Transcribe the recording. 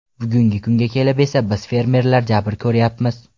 Bugungi kunga kelib esa biz fermerlar jabr ko‘ryapmiz.